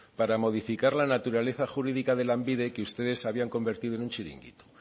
para modificar la naturaleza jurídica de lanbide que ustedes habían convertido en un chiringuito